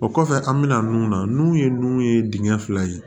O kɔfɛ an bɛna nun na n'u ye nun ye dingɛ fila ye